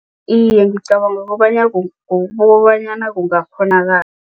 Iye, ngicabanga kobana kobanyana kungakghonakala.